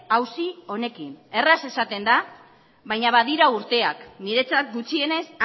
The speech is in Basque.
auzi honekin erraz esaten da baina badira urteak niretzat gutxienez